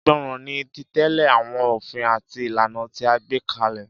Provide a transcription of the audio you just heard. Ìgbọràn ni, títẹ̀lé àwọn ofin àti ìlànà tí a gbé kalẹ̀.